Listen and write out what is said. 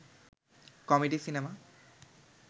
comedy cinema